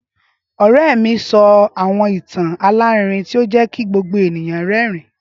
Ọrẹ mi sọ awọn itan alarinrin ti o jẹ ki gbogbo eniyan rẹrin